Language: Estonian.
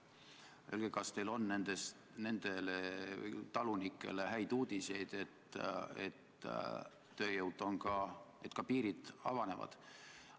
Tahtsin teada, kas teil on nendele talunikele häid uudiseid, et tööjõud saab olema, et ka piirid avanevad.